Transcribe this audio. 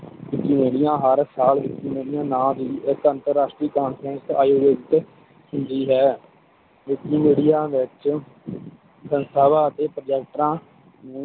ਊਮੇਨਿਆ ਹਰ ਸਾਲ ਊਮੇਨਿਆ ਨਾਂ ਦੀ ਇਕ ਅੰਤਰ ਰਾਸ਼ਟਰੀ Conference ਆਯੋਜਿਤ ਹੁੰਦੀ ਹੈ ਊਮੇਨਿਆ ਵਿਚ ਸੰਸਥਾਵਾਂ ਅਤੇ ਪ੍ਰੋਜੈਕਟਾਂ